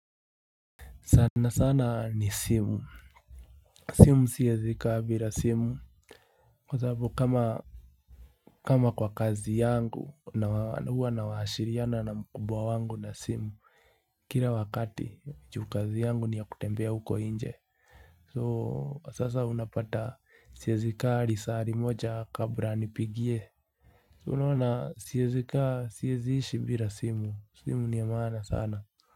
Sana sana ni simu, simu siezi kaa bila simu Kwa sababu kama kwa kazi yangu, huwa nawashiriana na mkubwa wangu na simu Kila wakati juu kazi yangu ni yakutembea huko nje So sasa unapata siezi kaa risari moja kabla anipigie So unaona siezi kaa siezi ishi bila simu, simu ni ya maana sana.